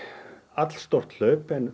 allstórt hlaup en